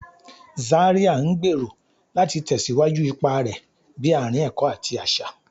Zaria ngbero láti tẹsiwaju ipá rẹ bi aarin ẹkọ ati aṣa.